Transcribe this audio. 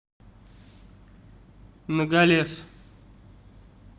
ногалес